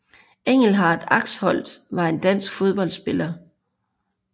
Engelhardt Axholt var en dansk fodboldspiller